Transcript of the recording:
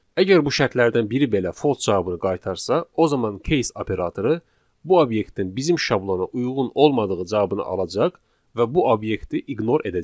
Əgər bu şərtlərdən biri belə false cavabını qaytarsa, o zaman case operatoru bu obyektin bizim şablona uyğun olmadığı cavabını alacaq və bu obyekti ignore edəcək.